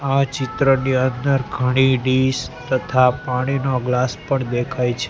આ ચિત્રની અંદર ઘણી ડીશ તથા પાણીના ગ્લાસ પણ દેખાય છે.